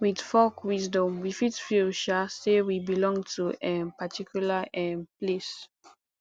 with folk wisdom we fit feel um say we belong to a um particular um place